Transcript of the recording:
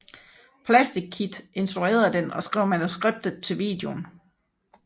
Plastic Kid instruerede den og skrev manuskriptet til videoen